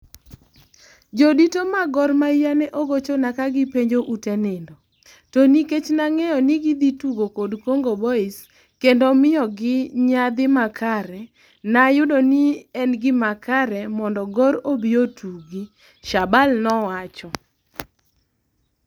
Jodito mag Gor mahia ne ogochona ka gipenjo ute nindo, to nikech nangeyo ni gi dhi tugo kod Congo Boys kendo miyo gi nyadhi makare nayudo nien gi makare mondo Gor obi otugi, Shabal nowacho